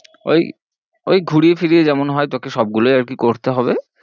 ঐ ঐ ঘুরিয়ে ফিরিয়ে যেমন হয়ে তোকে সব গুলোই আর কি করতে হবে